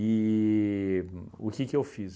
E o que que eu fiz?